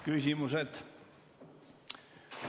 Küsimused.